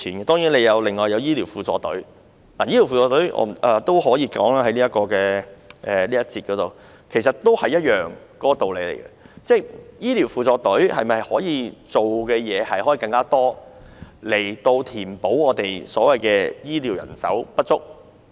當然，還有醫療輔助隊，在這個環節我也可以說一說醫療輔助隊，其實道理也一樣，醫療輔助隊是否可以做更多的工作，以填補醫療人手不足？